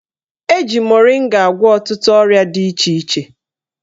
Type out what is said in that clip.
Eji moringa agwọ ọtụtụ ọrịa dị iche iche